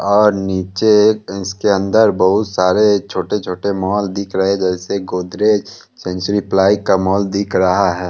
और नीचे इसके अंदर बहुत सारे छोटे-छोटे मॉल दिख रहे जैसे गोदरेज सेंचुरी प्लाई का मॉल दिख रहा है।